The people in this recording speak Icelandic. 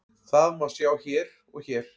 Það má sjá hér og hér.